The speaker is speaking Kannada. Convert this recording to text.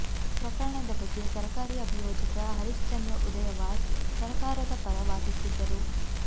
ಪ್ರಕರಣದ ಬಗ್ಗೆ ಸರಕಾರಿ ಅಭಿಯೋಜಕ ಹರಿಶ್ವಂದ್ರ ಉದಯವಾರ್ ಸರಕಾರದ ಪರ ವಾದಿಸಿದ್ದರು